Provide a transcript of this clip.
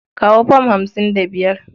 Kawo fam hamsin da biyar.